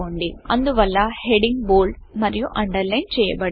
అందువల్ల heading bold మరియు underline చేయబడింది